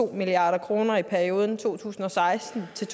milliard kroner i perioden to tusind og seksten til